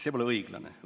See pole õiglane.